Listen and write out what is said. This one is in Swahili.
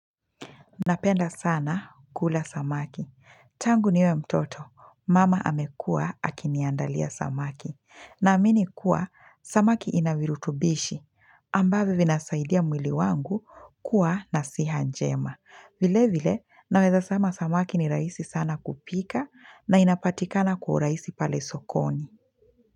Napenda sana kula samaki Tangu niwe mtoto, mama amekua akiniandalia samaki Naamini kuwa, samaki inavirutubishi ambavyo vinasaidia mwili wangu kuwa na siha njema vile vile, naweza sema samaki ni rahisi sana kupika na inapatikana kwa urahisi pale sokoni.